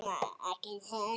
Ekki heldur